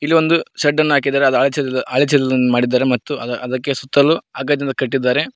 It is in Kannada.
ಇಲ್ಲಿ ಒಂಡು ಶೆಡ್ ಅನ್ನು ಹಾಕಿದ್ದಾರೆ ಮತ್ತು ಅ ಅದಕ್ಕೆ ಸುತ್ತಲು ಹಗ್ ದನ್ನು ಕಟ್ಟಿದ್ದಾರೆ.